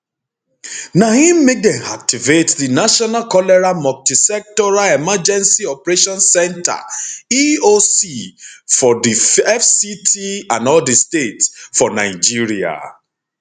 na im make dem activate di national cholera multisectoral emergency operations centre eoc for di fct and all di states for nigeria